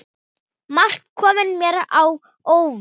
Margt kom mér á óvart.